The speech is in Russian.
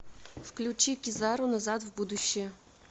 включи кизару назад в будущее